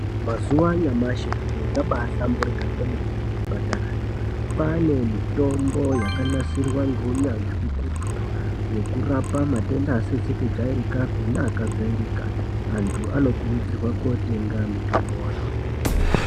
Mazuva anyamashi zviro zvabahlamburuka kwemene kuzvipatara. Kwane mitombo yakanasirwa ngounyanzvi ukurutu yokurapa matenda asizi kujairikapi neakajairika. Anthu anokurudzirwa kootenga mitomboyo.